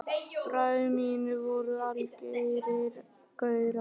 Bræður mínir voru algerir gaurar.